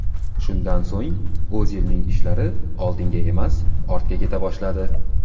Shundan so‘ng O‘zilning ishlari oldinga emas, ortga keta boshladi.